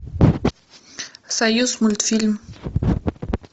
союзмультфильм